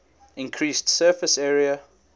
increased surface area